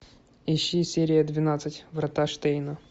ищи серия двенадцать врата штейна